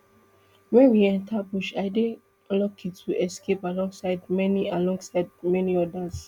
wen we enta bush i dey lucky to escape alongside many alongside many odas